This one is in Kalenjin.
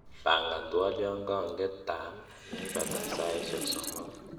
pangan twolyonkong'etan neipataa saisiek somogu